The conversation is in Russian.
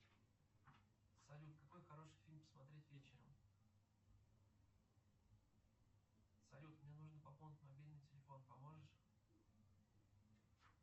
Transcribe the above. салют какой хороший фильм посмотреть вечером салют мне нужно пополнить мобильный телефон поможешь